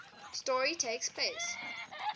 story takes place